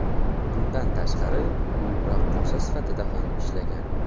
Bundan tashqari, u raqqosa sifatida ham ishlagan.